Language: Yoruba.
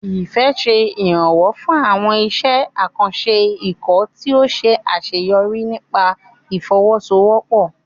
Ifẹ̀ ṣe ìrànwọ́ fún àwọn iṣẹ́ àkànṣe ikọ̀ tí ó ṣe àṣeyọrí nípasẹ̀ ìfọwọ́sowọ́pọ̀.